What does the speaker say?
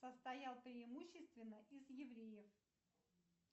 состоял преимущественно из евреев